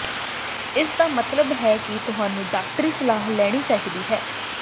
ਇਸ ਦਾ ਮਤਲਬ ਹੈ ਕਿ ਤੁਹਾਨੂੰ ਡਾਕਟਰੀ ਸਲਾਹ ਲੈਣੀ ਚਾਹੀਦੀ ਹੈ